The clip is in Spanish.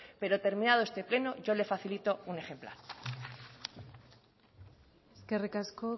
pero terminado este pleno yo le facilito un ejemplar eskerrik asko